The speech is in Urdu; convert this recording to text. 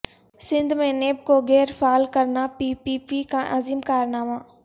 سندھ میں نیب کوغیرفعال کرناپی پی پی کاعظیم کارنامہ